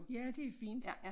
Ja det fint